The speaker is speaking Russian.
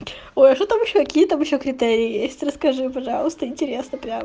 ой а что там ещё какие там ещё критерии есть расскажи пожалуйста интересно прям